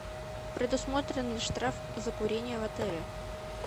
предусмотрен ли штраф за курение в отеле